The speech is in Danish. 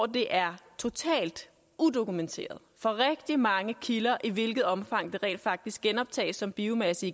det er totalt udokumenteret for rigtig mange kilder i hvilket omfang det rent faktisk genoptages som biomasse